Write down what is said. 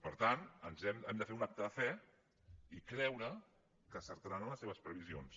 per tant hem de fer un acte de fe i creu·re que encertaran en les seves previsions